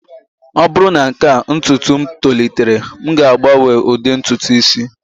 ọ bụrụ na nke a ntutu m tolitere, m ga-agbanwe ụdị ntutu isi